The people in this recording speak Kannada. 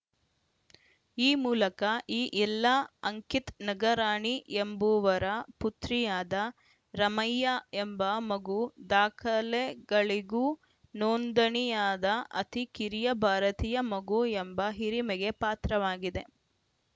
ಈ ಮೂಲಕ ಈ ಎಲ್ಲ ಅಂಕಿತ್‌ ನಗರಾಣಿ ಎಂಬುವರ ಪುತ್ರಿಯಾದ ರಮೈಯಾ ಎಂಬ ಮಗು ದಾಖಲೆಗಳಿಗೂ ನೋಂದಣಿಯಾದ ಅತಿ ಕಿರಿಯ ಭಾರತೀಯ ಮಗು ಎಂಬ ಹಿರಿಮೆಗೆ ಪಾತ್ರವಾಗಿದೆ